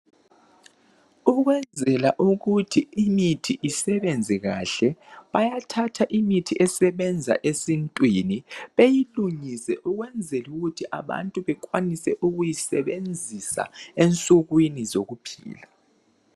Ukuyenzela ukuthi imithi isebenze kahle bayathatha imithi esebenza esintwini beyilungise ukwenzela ukuthi abantu bekwanise ukuyisebenzisa ensukwini zokuphila.